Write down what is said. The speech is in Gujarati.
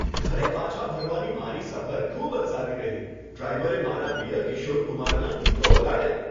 ઘરે પાછા ફરવાની મારી સફર ખૂબ જ સારી રહી. ડ્રાઈવરે મારા પ્રિય કિશોર કુમારનાં ગીતો વગાડ્યાં.